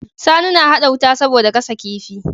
Sani na hada wuta saboda gasa kifi